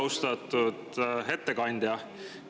Austatud ettekandja!